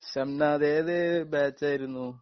ഷംനാദ് ഏത് ബാച്ചായിരുന്നു ?